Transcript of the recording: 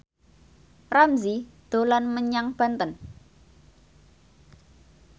Ramzy dolan menyang Banten